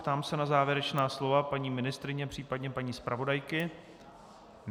Ptám se na závěrečná slova paní ministryně, případně paní zpravodajky.